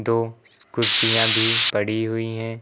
दो कुर्सियां भी पड़ी हुई है।